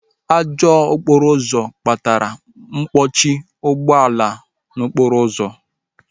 Ajọ okporo ụzọ akpatala mkpọchi ụgbọala n'okporo ụzọ